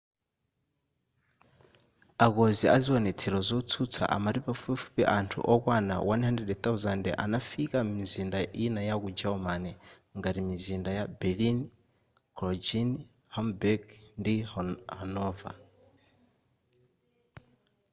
akonzi a ziwonetsero zotsutsa amati pafupifupi anthu okwana 100,000 anafika m'mizinda ina yaku germary ngati mizinda ya berlin cologne hamburg ndi hanover